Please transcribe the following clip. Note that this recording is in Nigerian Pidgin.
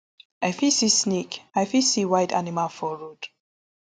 i fit see snake i fit see wild animal for road